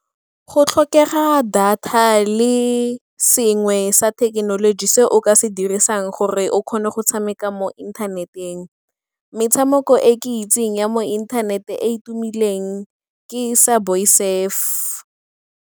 Go tlhokega data le sengwe sa thekenoloji se o ka se dirisang gore o kgone go tshameka mo internet-eng. Metshameko e ke itseng ya mo inthanete e e tumileng ke Subway Surf.